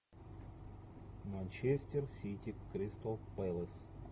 манчестер сити кристал пэлас